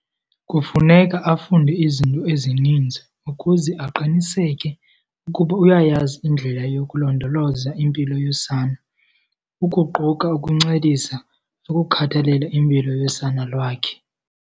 Kufuneka afunde izinto ezininzi ukuze aqiniseke ukuba uyayazi indlela yokulondoloza impilo yosana ukuquka ukuncedisa nokukhathalela impilo yosana lwakhe.